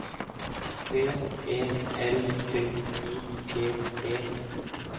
V E L D I G E